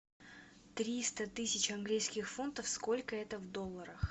триста тысяч английских фунтов сколько это в долларах